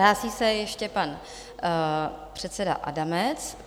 Hlásí se ještě pan předseda Adamec.